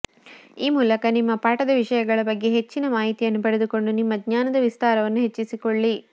ಈ ಮೂಲಕ ನಿಮ್ಮ ಪಾಠದ ವಿಷಯಗಳ ಬಗ್ಗೆ ಹೆಚ್ಚಿನ ಮಾಹಿತಿಯನ್ನು ಪಡೆದುಕೊಂಡು ನಿಮ್ಮ ಜ್ಞಾನದ ವಿಸ್ತಾರವನ್ನು ಹೆಚ್ಚಿಸಿಕೊಳ್ಳಿ